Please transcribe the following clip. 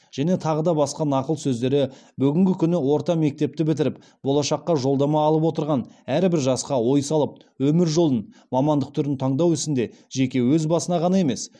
және тағы да басқа нақыл сөздері бүгінгі күні орта мектепті бітіріп болашаққа жолдама алып отырған әрбір жасқа ой салып өмір жолын мамандық түрін таңдау ісінде жеке өз басына ғана емес